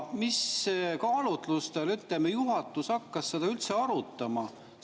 Mis kaalutlustel juhatus hakkas seda üldse arutama?